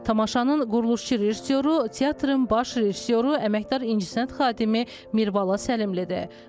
Tamaşanın quruluşçu rejissoru, teatrın baş rejissoru, əməkdar incəsənət xadimi Mirbala Səlimlidir.